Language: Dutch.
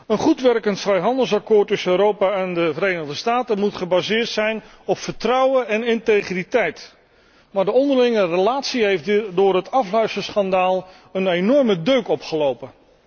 Een goed werkend vrijhandelsakkoord tussen Europa en de Verenigde Staten moet gebaseerd zijn op vertrouwen en integriteit, maar de onderlinge relatie heeft door het afluisterschandaal een enorme deuk opgelopen.